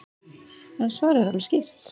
En svarið er alveg skýrt.